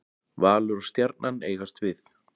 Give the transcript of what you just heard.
Valur og Stjarnan eigast við.